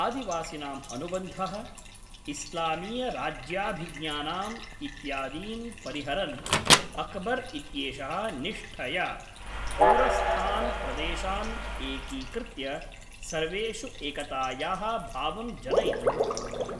आदिवासिनाम् अनुबन्धः, इस्लामीयराज्याभिज्ञानम् इत्यादीन् परिहरन्, अकबर् इत्येषः निष्ठया, दूरस्थान् प्रदेशान् एकीकृत्य, सर्वेषु एकतायाः भावं जनयितुं,